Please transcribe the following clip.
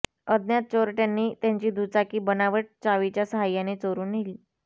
अज्ञात चोरट्यांनी त्यांची दुचाकी बनावट चावीच्या सहाय्याने चोरून नेली